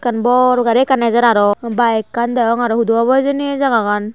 bor gari ekkan ejer araw byk ekkan degong araw hudu obo hijeni ai Jagah gan.